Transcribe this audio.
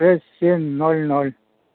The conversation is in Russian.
шесть семь нуль нуль